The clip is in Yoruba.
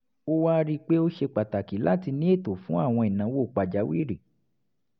a wá rí i pé ó ṣe pàtàkì láti ní ètò fún àwọn ìnáwó pàjáwìrì